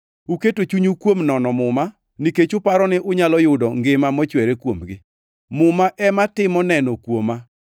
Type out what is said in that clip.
Uketo chunyu kuom nono Muma nikech uparo ni unyalo yudo ngima mochwere kuomgi. Muma ema timo neno kuoma,